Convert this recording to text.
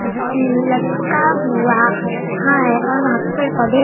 ल लटका हुआ है और वहां पे पेड़ पौधे--